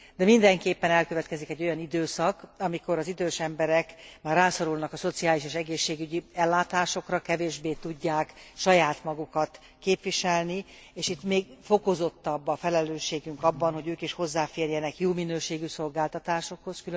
De mindenképpen elkövetkezik egy olyan időszak, amikor az idős emberek rászorulnak a szociális és egészségügyi ellátásokra, kevésbé tudják saját magukat képviselni, és itt még fokozottabb a felelősségünk abban, hogy ők is hozzáférjenek jó minőségű szolgáltatásokhoz.